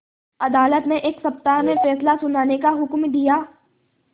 अदालत ने एक सप्ताह में फैसला सुनाने का हुक्म दिया